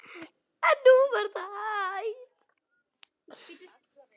En nú var það hætt.